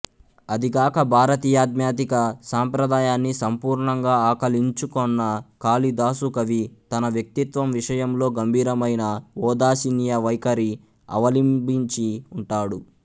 అదీగాక భారతీయాధ్యాత్మిక సంప్రదాయాన్ని సంపూర్ణంగా ఆకళించుకొన్న కాళిదాసుకవి తన వ్యక్తిత్వం విషయంలో గంభీరమైన ఓదాసీన్య వైఖరి అవలింబించి ఉంటాడు